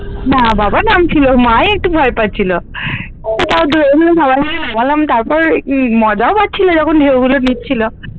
না বাবা নামছিলো মা ই একটু ভয় পাচ্ছিলো। তো তাও ধরে ধরে সবাই মিলে নিয়ে গেলাম তারপর মজাও ও পাচ্ছিলো যখন ঢেউ গুলো দিচ্ছিলো।